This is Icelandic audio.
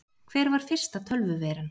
Hver var fyrsta tölvuveiran?